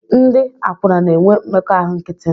Ndị akwụna na-enwe mmekọahụ nkịtị